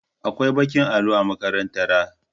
Akwai ɓakin allo a makarantara.